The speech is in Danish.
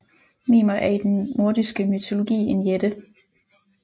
Mimer er i den nordiske mytologi en jætte